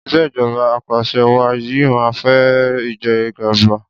ìṣèjọba apàṣẹwàá yìí máa fa ìjẹgàba.